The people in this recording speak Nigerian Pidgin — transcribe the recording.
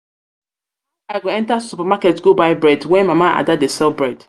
how i go enter supermarket go buy bread when mama ada dey sell bread.